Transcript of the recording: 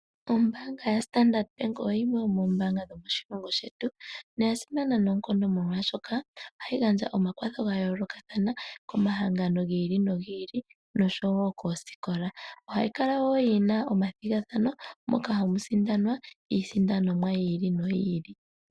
Ombanga yaStandard bank oyo yimwe yomoombanga shomoshilongo shetu noyasimana noonkondo molwaashoka ohayi gandja omakwatho ga yoolokathana komahangano gi ili nogi ili noshowo koosikola. Ohayi kala wo yina omathigathano moka hamu sindanwa iisindanomwa yiili noyiili.